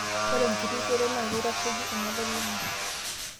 Ore enkiti shoto naa keitasheki enalulung'a